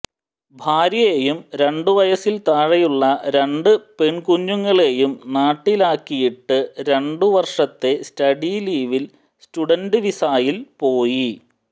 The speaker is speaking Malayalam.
ഭാര്യയെയും രണ്ടുവയസിൽ താഴെയുള്ള രണ്ട് പെൺകുഞ്ഞുങ്ങളെയും നാട്ടിലാക്കിയിട്ട് രണ്ടു വർഷത്തെ സ്റ്റഡി ലീവിൽ സ്റ്റുഡന്റ് വിസായിൽ പോയി